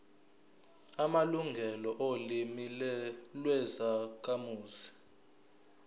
amalungelo olimi lwezakhamuzi